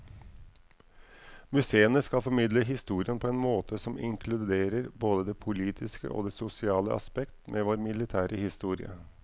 Museene skal formidle historien på en måte som inkluderer både det politiske og det sosiale aspekt ved vår militære historie.